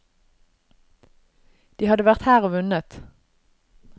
De hadde vært her og vunnet.